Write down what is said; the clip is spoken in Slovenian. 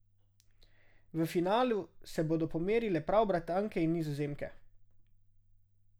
V finalu se bodo pomerile prav Britanke in Nizozemke.